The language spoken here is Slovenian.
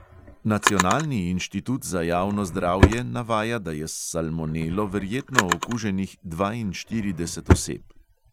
Nacionalni inštitut za javno zdravje navaja, da je s salmonelo verjetno okuženih dvainštirideset oseb.